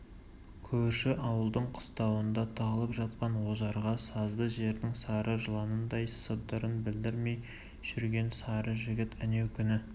көрші ауылдың қыстауында тығылып жатқан ожарға сазды жердің сары жыланындай сыбдырын білдірмей жүрген сары жігіт әнеукүні